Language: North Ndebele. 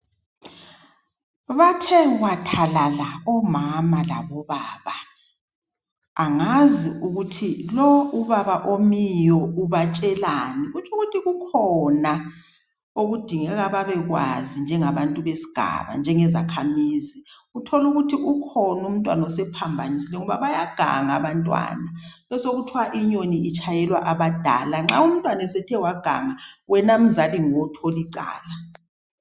Bathe wathalala omama labo baba angazi ukuthi lo ubaba omiyo ubatshelani kutshukuthi kukhona okudingeka babekwazi njengabantu besigaba njenge zakhamizi. Uthole ukuthi ukhona umntwana osephambanisile ngoba bayaganga abantwana besokuthiwa inyoni itshayelwa abadala nxa umntwana sethe waganga wena mzali nguwe othola icala.